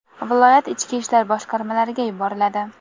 viloyat ichki ishlar boshqarmalariga yuboriladi.